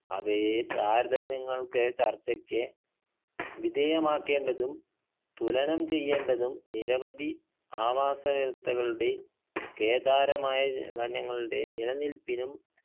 അവയെ താരതമ്യങ്ങൾക്ക് ചർച്ചയ്ക്ക് വിധേയമാക്കേണ്ടതും തുലനം ചെയ്യേണ്ടതും നിരവധി ആവാസ വ്യവസ്ഥകളുടെ കേദാരമായ വനങ്ങളുടെ നില നിൽപ്പിനും